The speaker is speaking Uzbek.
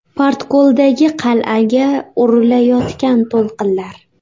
Portkoldagi qal’aga urilayotgan to‘lqinlar.